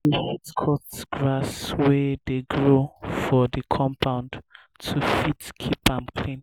we fit cut grass wey dey grow for di compound to fit keep am clean